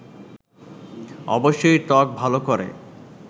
অবশ্যই ত্বক ভালো করে